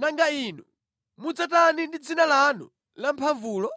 Nanga inu mudzatani ndi dzina lanu lamphamvulo?”